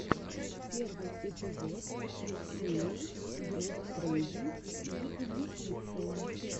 первый эпизод ксэлиус груп трейдинг и инвестиции